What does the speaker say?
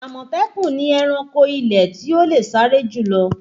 Àmọ̀tẹ́kùn ni ẹranko ilẹ̀ tí ó le sáré jù lọ